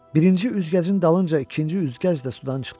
Birinci üzgəcin dalınca ikinci üzgəc də sudan çıxdı.